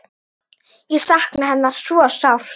Ég sakna hennar svo sárt.